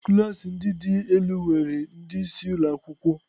Klas ndị dị elu nwere ndị isi ụlọ akwụkwọ.